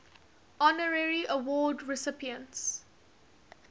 honorary award recipients